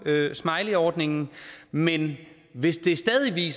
af smileyordningen men hvis det stadig